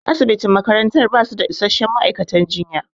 Asibitin makaranta basu da isasshen ma'aikatan jinya